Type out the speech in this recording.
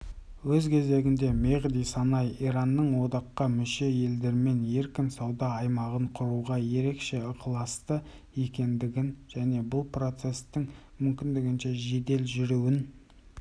өз кезегінде мехди санай иранның одаққа мүше елдермен еркін сауда аймағын құруға ерекше ықыласты екендігін және бұл процестің мүмкіндігінше жедел жүруін